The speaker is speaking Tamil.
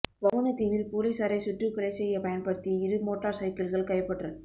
வவுணதீவில் பொலிஸாரை சுட்டுக் கொலை செய்ய பயன்படுத்திய இரு மோட்டர் சைக்கிள்கள் கைப்பற்றல்